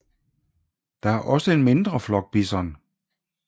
Der er også en mindre flok bison